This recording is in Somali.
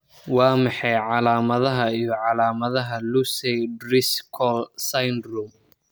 Waa maxay calaamadaha iyo calaamadaha Lucey Driscoll syndrome?